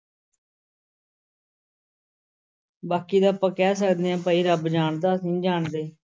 ਬਾਕੀ ਦਾ ਆਪਾਂ ਕਹਿ ਸਕਦੇ ਹਾਂ ਭਾਈ ਰੱਬ ਜਾਣਦਾ ਅਸੀਂ ਨੀ ਜਾਣਦੇ।